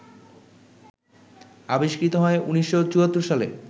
আবিষ্কৃত হয় ১৯৭৪ সালে